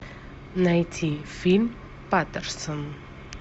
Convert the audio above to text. найти фильм патерсон